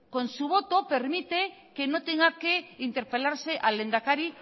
con su voto permite que no tenga que interpelarse al lehendakari